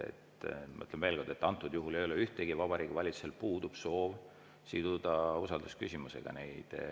Ma ütlen veel kord, et antud juhul Vabariigi Valitsusel puudub soov siduda neid eelnõusid usaldusküsimusega.